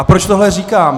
A proč tohle říkám?